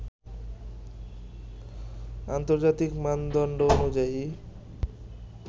আন্তর্জাতিক মানদণ্ড অনুযায়ী